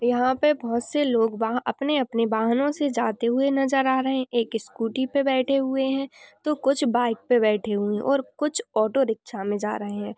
यहाँ पे बहुत से लोग वहां अपने-अपने वाहनों से जाते हुए नजर आ रहे है। एक स्कूटी पे बैठे हुए है तो कुछ बाइक पे बैठे हुए हैं और कुछ ऑटो रिक्शा में जा रहे हैं।